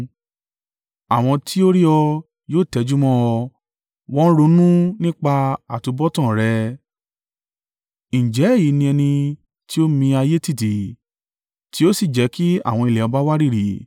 Àwọn tí ó rí ọ yóò tẹjúmọ́ ọ, wọ́n ronú nípa àtubọ̀tán rẹ: “Ǹjẹ́ èyí ni ẹni tí ó mi ayé tìtì tí ó sì jẹ́ kí àwọn ilẹ̀ ọba wárìrì.